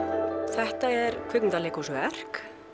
þetta er kvikmyndaleikhúsverk